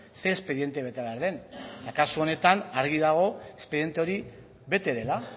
ze espediente bete behar den eta kasu honetan argi dago espediente hori bete dela